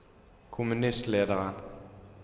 kommunistlederen